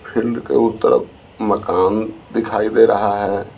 Field के उस तरफ मकान दिखाई दे रहा है।